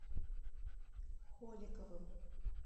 холиковым